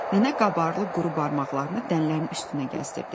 Nənə qabarlı quru barmaqlarını dənələrin üstünə gəzdirdi.